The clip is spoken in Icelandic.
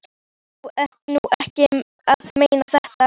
Þú ert nú ekki að meina þetta!